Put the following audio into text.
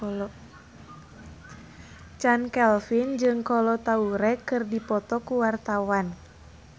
Chand Kelvin jeung Kolo Taure keur dipoto ku wartawan